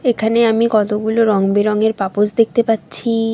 এখানে আমি কতগুলো রং বেরঙের পাপোশ দেখতে পাচ্ছি-ই।